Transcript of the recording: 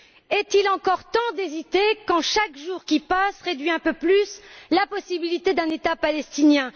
Est il encore temps d'hésiter quand chaque jour qui passe réduit un peu plus la possibilité d'un État palestinien.